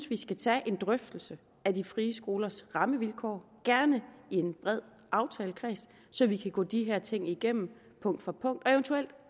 vi skal tage en drøftelse af de frie skolers rammevilkår gerne i en bred aftalekreds så vi kan gå de her ting igennem punkt for punkt eventuelt